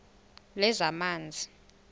lezamanzi